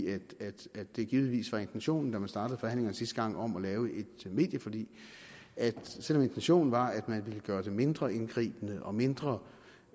at det givetvis var intentionen da man startede forhandlingerne sidste gang om at lave et medieforlig at selv om intentionen var at man ville gøre det mindre indgribende og mindre